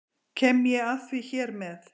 Kem ég að því hér með.